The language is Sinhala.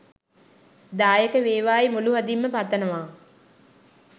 දායක වේවායි මුළු හදින්ම පතනවා